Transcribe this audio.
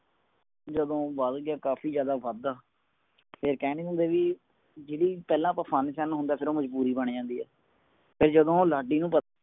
ਜਦੋ ਉਹ ਬੱਲ ਲੱਗ ਗਯਾ ਕਾਫੀ ਜ਼ਿਆਦਾ ਵਦਦਾ ਫੇਰ ਕਹ ਨੀ ਹੁੰਦੇ ਵੀ ਜਿਦੀ ਪਹਿਲਾ ਅਪਣਾ ਫਨ ਸ਼ਨ ਹੁੰਦਾ ਹੈ ਫੇਰ ਉਹ ਮਜਬੂਰੀ ਬਣ ਜਾਂਦੀ ਐ ਫੇਰ ਜਦੋ ਉਹ ਲਾਡੀ ਨੂੰ